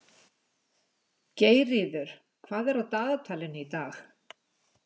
Geirríður, hvað er á dagatalinu í dag?